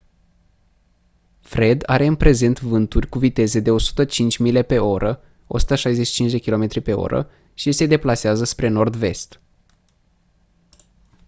fred are în prezent vânturi cu viteze de 105 mile pe oră 165 km/h și se deplasează spre nord-vest